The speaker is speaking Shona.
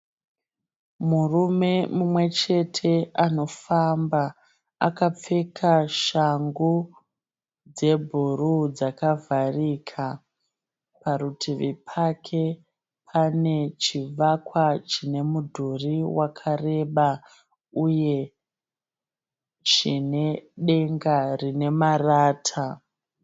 Murume mumwechete anofamba. Akapfeka shangu dzebhuruu dzakavharika. Parutivi pake pane chivakwa chine mudhuri wakareba uye chine denga rine marata.